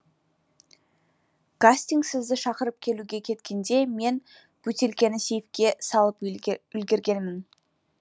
гастингс сізді шақырып келуге кеткенде мен бөтелкені сейфке салып үлгергенмін